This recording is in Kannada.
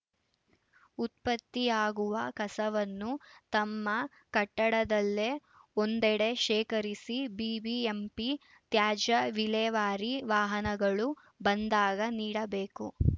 ಉತ್ಪತ್ತಿಯಾಗುವ ಕಸವನ್ನು ತಮ್ಮ ಕಟ್ಟಡದಲ್ಲೇ ಒಂದೆಡೆ ಶೇಖರಿಸಿ ಬಿಬಿಎಂಪಿ ತ್ಯಾಜ್ಯ ವಿಲೇವಾರಿ ವಾಹನಗಳು ಬಂದಾಗ ನೀಡಬೇಕು